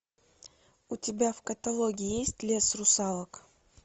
у тебя в каталоге есть лес русалок